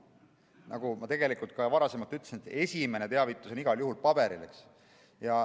Nagu ma ka ütlesin, esimene teavitus on igal juhul paberil.